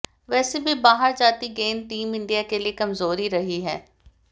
वैसे भी बाहर जाती गेंद टीम इंडिया के लिए कमजोरी रही है